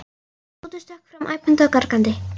Tóti stökk fram æpandi og gargandi.